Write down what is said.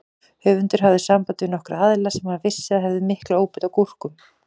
Höfundur hafði samband við nokkra aðila sem hann vissi að hefðu mikla óbeit á gúrkum.